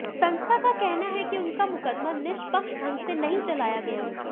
संस्था का कहना है कि उनका मुकदमा निष्पक्ष ढंग से नहीं चलाया गया